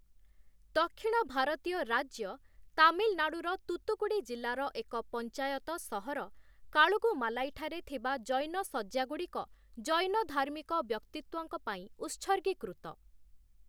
ଦକ୍ଷିଣ ଭାରତୀୟ ରାଜ୍ୟ ତାମିଲନାଡୁର ତୂତୁକୁଡି ଜିଲ୍ଲାର ଏକ ପଞ୍ଚାୟତ ସହର କାଲୁଗୁମାଲାଇ ଠାରେ ଥିବା ଜୈନ ଶଯ୍ୟାଗୁଡ଼ିକ ଜୈନ ଧାର୍ମିକ ବ୍ୟକ୍ତିତ୍ୱଙ୍କ ପାଇଁ ଉତ୍ସର୍ଗୀକୃତ ।